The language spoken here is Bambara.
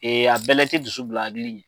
A bɛɛ la i tɛ dusu bila hakili ɲɛ.